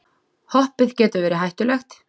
Hoppið getur verið hættulegt